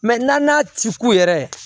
n'an ti k'u yɛrɛ